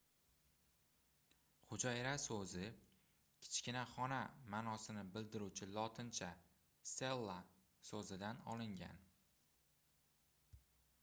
hujayra soʻzi kichkina xona maʼnosini bildiruvchi lotincha cella soʻzidan olingan